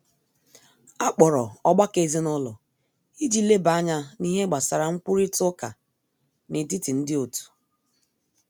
Akpọrọ ọgbakọ ezinụlọ iji leba anya n'ihe gbasara nkwurita uká n'etiti ndi otu.